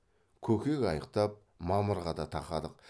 көкек аяқтап мамырға да тақадық